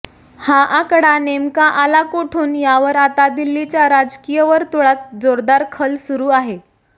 हा आकडा नेमका आला कुठून यावर आता दिल्लीच्या राजकीय वर्तुळात जोरदार खल सुरू आहे